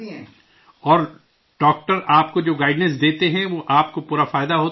اور ڈاکٹر آپ کو جو گائیڈنس دیتے ہیں وہ آپ کو پورا فائدہ ہوتا ہے اس سے